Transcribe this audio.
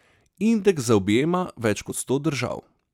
Indeks zaobjema več kot sto držav.